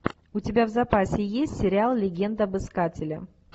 у тебя в запасе есть сериал легенда об искателе